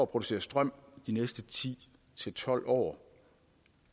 producere strøm de næste ti til tolv år